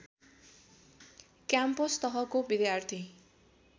campus तहको विद्यार्थी